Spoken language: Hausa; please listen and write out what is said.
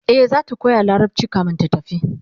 e zata koya larabci kamin ta tafi